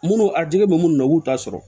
Munnu a jigi bɛ munnu na u k'u ta sɔrɔ